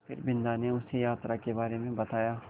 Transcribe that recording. फिर बिन्दा ने उसे यात्रा के बारे में बताया